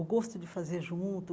O gosto de fazer junto,